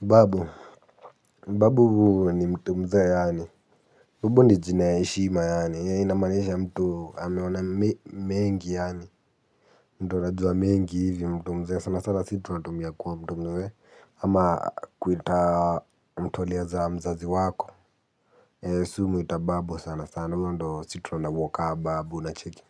Babu. Babu ni mtu mzee yaani. Umbu ni jina ya eshima yaani inamaanisha mtu ameona mengi yaani. Mtu anajua mengi hivi mtu mzee. Sana sana si tunatumia kuwa mtu mwe. Ama kuita mtu aliyezaa mzazi wako. Si umuita babu sana sana. Sana mtu sito anawaka babu unacheki.